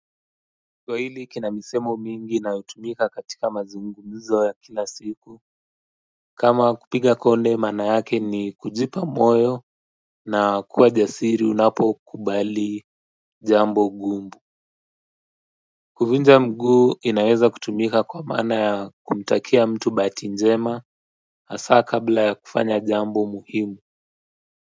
Kuna misemo mingi inayotumika katika mazungumzo ya kila siku, kama kupiga konde, maana yake ni kujipa moyo na kuwa jasiri unapokabili jambo gumu. Kuvunja mguu inaweza kutumika kwa maana ya kumtakia mtu bahati njema. Hasa kabla ya kufanya jambo muhimu.